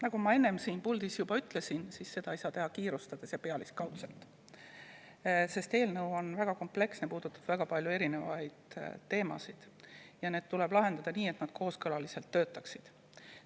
Nagu ma enne siin puldis juba ütlesin, ei saa seda teha kiirustades ja pealiskaudselt, sest on väga kompleksne ja puudutab väga paljusid teemasid, need tuleb lahendada nii, et nad töötaksid kooskõlaliselt.